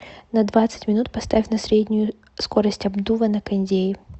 на двадцать минут поставь на среднюю скорость обдува на кондее